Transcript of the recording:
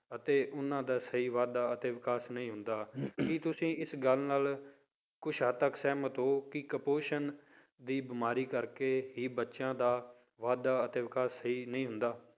ਅਤੇ ਉਹਨਾਂ ਦਾ ਸਹੀ ਵਾਧਾ ਤੇ ਵਿਕਾਸ ਨਹੀਂ ਹੁੰਦਾ ਕੀ ਤੁਸੀਂ ਇਸ ਗੱਲ ਨਾਲ ਕੁੱਝ ਹੱਦ ਤੱਕ ਸਹਿਮਤ ਹੋ ਕਿ ਕੁਪੋਸ਼ਣ ਦੀ ਬਿਮਾਰੀ ਕਰਕੇ ਹੀ ਬੱਚਿਆਂ ਦਾ ਵਾਧਾ ਅਤੇ ਵਿਕਾਸ ਸਹੀ ਨਹੀਂ ਹੁੰਦਾ।